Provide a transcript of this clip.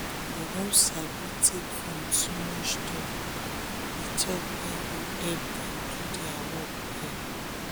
dem don sabi take from too much talk d talk wey go help dem do dier work well